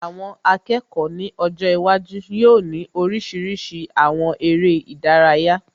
Àwọn akẹ́kọ̀ọ́ ní ọjọ́ iwájú yóò ní oríṣiríṣi àwọn eré ìdárayá